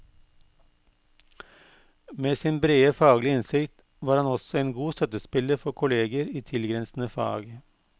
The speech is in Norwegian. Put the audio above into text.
Med sin brede faglige innsikt var han også en god støttespiller for kolleger i tilgrensende fag.